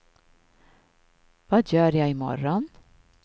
vad gör jag imorgon